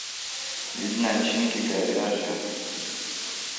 вид начинки говяжий